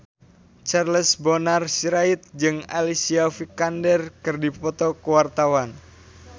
Charles Bonar Sirait jeung Alicia Vikander keur dipoto ku wartawan